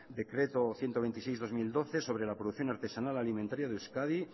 decreto ciento veintiséis barra dos mil doce sobre la producción artesanal alimentaria de euskadi